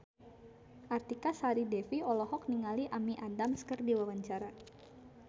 Artika Sari Devi olohok ningali Amy Adams keur diwawancara